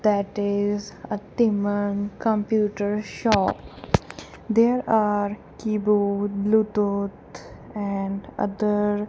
that is a dhiman computer shop there are keyboard Bluetooth and other --